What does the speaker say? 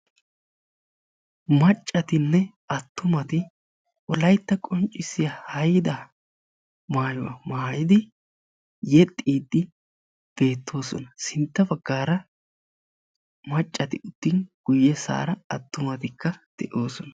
Maccatinne attumati Wolaytta qonccissiya haydaa maayuwaa mayyidi yeexxiide bettoosona; sintta baggara maaccati uttin guyyessara attumatikka de'ossona.